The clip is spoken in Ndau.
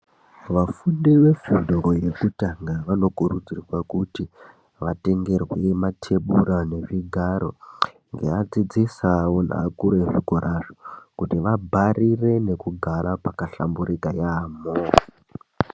Vafundi vefundo yekutanga vanokurudzirwa kuti vatengerwe matebhura nezvigaro. Ngeadzidzisi avo neakuru vezvikorazvo kuti vabharire nekugara pakahlamburika yaamho.